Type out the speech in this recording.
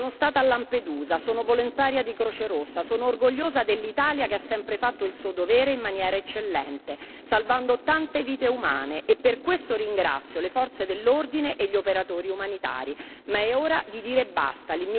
Sono stata a Lampedusa, sono volontaria della Croce Rossa e sono orgogliosa dell'Italia che ha sempre fatto il suo dovere in maniera eccellente, salvando tante vite umane e per questo ringrazio le forze dell'ordine e gli operatori umanitari, ma è ora di dire basta.